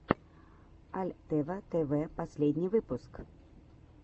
альтева тэвэ последний выпуск